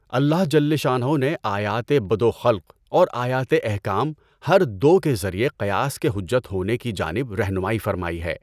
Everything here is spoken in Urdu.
اللہ جل شانہٗ نے آیاتِ بدء و خلق اور آیات احکام ہر دو کے ذریعہ قیاس کے حجت ہونے کی جانب رہنمائی فرمائی ہے۔